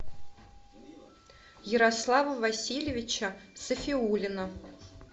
ярослава васильевича сафиуллина